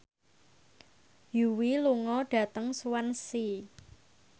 Yui lunga dhateng Swansea